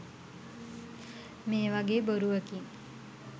මේවගේ බොරුවකින්